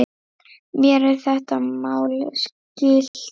Mér er þetta mál skylt.